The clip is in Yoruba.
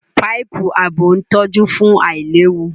Páìpù ààbò ń tọ́jú fún àìlewu